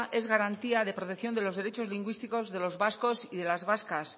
es garantía de protección de los derechos lingüísticos de los vascos y de las vascas